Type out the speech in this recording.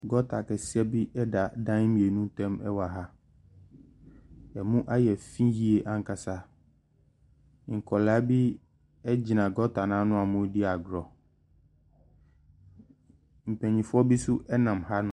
Gɔɔta kɛseɛ bi da dan mmienu ntam wɔ ha, ɛmu ayɛ fii yie pa ara. Nkwadaa bi gyina gɔɔta n’ano a wɔredi agorɔ, mpanimfoɔ bi nso nam hanom.